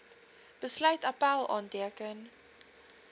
besluit appèl aanteken